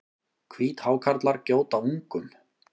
Hvíthákarlar gjóta ungum.